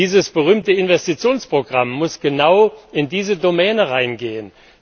Dieses berühmte Investitionsprogramm muss genau in diese Domäne hineingehen.